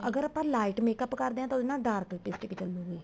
ਅਗਰ ਆਪਾਂ lite makeup ਕਰਦੇ ਹਾਂ ਤਾਂ ਉਹਦੇ ਨਾਲ dark lipstick ਚੱਲੂਗੀ